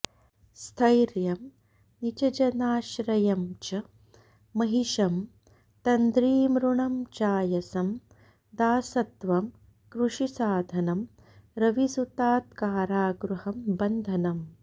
स्थैर्यं नीचजनाश्रयं च महिषं तन्द्रीमृणं चायसं दासत्वं कृषिसाधनं रविसुतात्कारागृहं बन्धनं